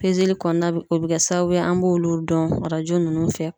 kɔnɔna o be kɛ sababu ye an b'olu dɔn arajo nunnu fɛ.